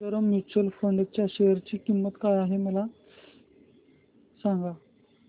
Sundaram mutual fund च्या share ची किंमत काय आहे सांगा